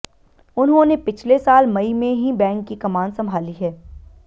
उन्होंने पिछले साल मई में ही बैंक की कमान संभाली है